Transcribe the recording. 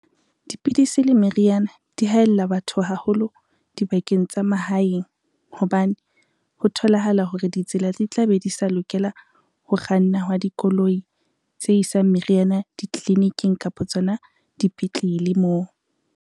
Dipidisi le meriana di haella batho haholo dibakeng tsa mahaeng hobane, ho tholahala hore ditsela di tla be di sa lokela ho kganna hwa dikoloi tse isang meriana, ditliliniking kapa tsona dipetlele moo.